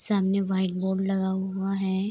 सामने white board लगा हुआ है।